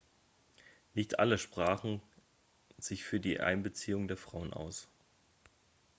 nicht alle sprachen sich für die einbeziehung der frauen aus